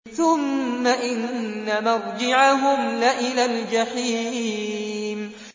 ثُمَّ إِنَّ مَرْجِعَهُمْ لَإِلَى الْجَحِيمِ